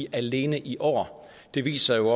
alene i år det viser jo